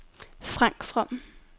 Frank From